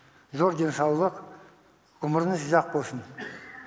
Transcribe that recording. зор денсаулық ғұмырыңыз ұзақ болсын